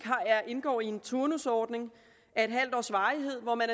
indgår i en turnusordning af et halvt års varighed hvor man